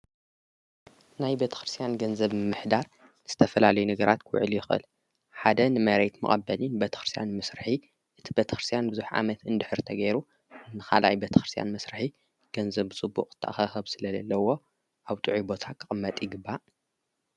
ናይ በተክርስያን ገንዘብ ምሕዳር ንስተፈላለይ ነገራት ኲውዕል ይቕል ሓደ ንመሬይት መቐበሊን በተኽርስያን ምስርሒ እቲ በተክርስያን ብዙኅ ዓመት እንድኅርተገይሩ ንኻላይ በተክርስያን ምሥርሒ ገንዘብ ጽቡቕ ተኸኸብ ስለ ለለዎ ኣብ ቱዒ ቦታ ኽቕመጥ ይግባእ።